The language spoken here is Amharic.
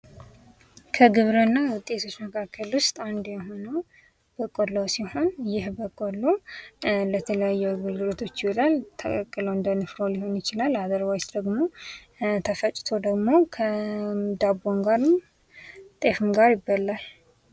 በቆሎ: በኢትዮጵያ በስፋት የሚመረተው የበጋ ሰብል ሲሆን ለምግብነት፣ ለመኖነትና ለተለያዩ ኢንዱስትሪዎች ግብአትነት ያገለግላል።